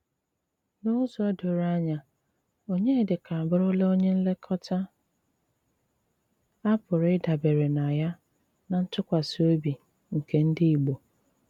N'ụ̀zọ dòrò ányà, Ọnyédíkà abùrùlá ónyè nlékòtà à pú́rụ ídàbérè ná yá ná ntùkwásí òbí nké ndí Ìgbò.